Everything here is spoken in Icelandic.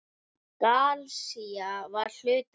Galisía var hluti af